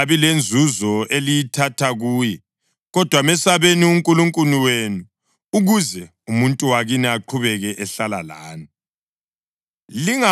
Akungabi lanzuzo eliyithatha kuye, kodwa mesabeni uNkulunkulu wenu, ukuze umuntu wakini aqhubeke ehlala lani.